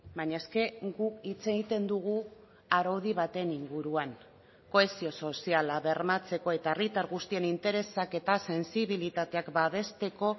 baina es que guk hitz egiten dugu araudi baten inguruan kohesio soziala bermatzeko eta herritar guztien interesak eta sentsibilitateak babesteko